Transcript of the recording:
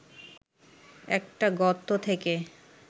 একটা গর্ত থেকে